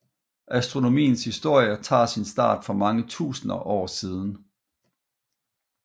Astronomiens historie tager sin start for mange tusinde år siden